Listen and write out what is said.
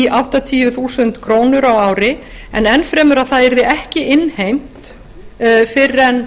í áttatíu þúsund krónur á ári en enn fremur að það yrði ekki innheimt fyrr en